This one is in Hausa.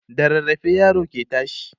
da rarrafe yaro ke tashi